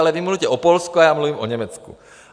Ale vy mluvíte o Polsku, a já mluvím o Německu.